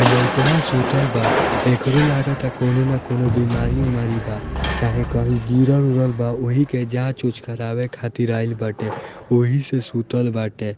इ लेयकबा सूतल बा एकरो लागता कोनो ना कोनो बीमारी-ऊमारी बा चाहे कहीं गिरल-उरल बा ओहि के जांच-ऊंच करावे खातिर आइल बाटे ओहि से सुतल बाटे।